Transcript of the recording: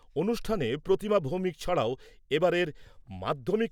অনুষ্ঠানে প্রতিমা ভৌমিক ছাড়াও এবারের মাধ্যমিক